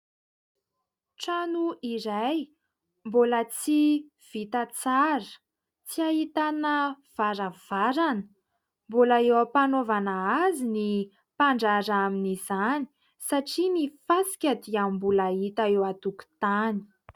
Trano iray mbola tsy vita tsara, tsy ahitana varavarana mbola eo ampanaovana azy ny mpandraraha amin'izany satria ny fasika dia mbola hita eo an-tokotany.